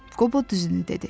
Qobo düzünü dedi.